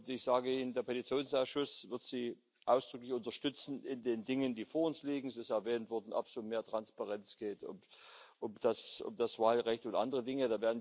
Ich sage Ihnen Der Petitionsausschuss wird Sie ausdrücklich unterstützen in den Dingen, die vor uns liegen es ist erwähnt worden ob es um mehr Transparenz geht, um das Wahlrecht und andere Dinge.